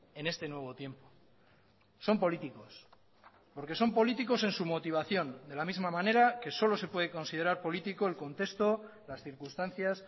en este nuevo tiempo son políticos porque son políticos en su motivación de la misma manera que solo se puede considerar político el contexto las circunstancias